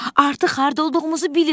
Artıq harda olduğumuzu bilirəm.